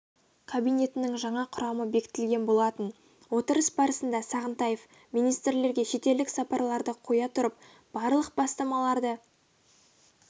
кабинетінің жаңа құрамы бекітілген болатын отырыс барысында сағынтаев министрлерге шетелдік сапарларды қоя тұрып барлық бастамаларды